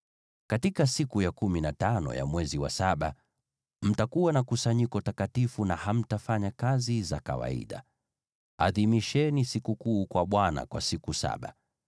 “ ‘Katika siku ya kumi na tano ya mwezi wa saba, mtakuwa na kusanyiko takatifu, na hamtafanya kazi za kawaida. Adhimisheni sikukuu kwa Bwana kwa siku saba.